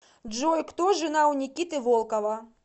джой кто жена у никиты волкова